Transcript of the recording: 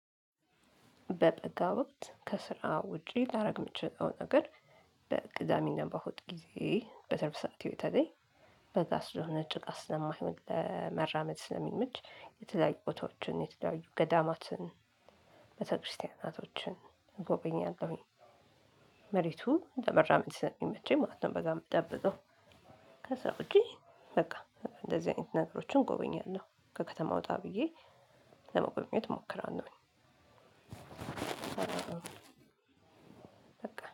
በበጋ ወቅት ከስራ ውጪ ላረግ ምችለው ነገር በቅዳሜ እና በእሁድ ጊዜዬ በትርፍ ሰዓቴ በተለይ በጋ ስለሆነ ጭቃ ስለማይሆን ለመራመድ ስለሚመች የተለያዩ ቦታዎችን የተያዩ ገዳማትን ቤተክርስቲያናቶችን እጎበኛለሁኝ። መሬቱ ለመራመድ ስለሚመቸኝ ማለት ነው። በጋ ምጠብቀው። ከዛ ውጪ በቃ እንደዚህ አይነት ነገሮችን ጎበኛለሁ ከከተማ ወጣ ብዬ ለመጎብኘት እሞክራለሁኝ። በቃ